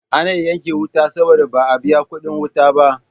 Ana yanke wuta saboda ba a biyan kuɗin wuta ba.